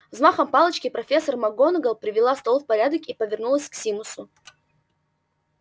взмахом палочки профессор макгонагалл привела стол в порядок и повернулась к симусу